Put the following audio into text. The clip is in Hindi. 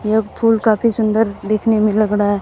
यह फूल काफी सुंदर देखने में लग रहा है।